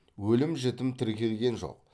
өлім жітім тіркелген жоқ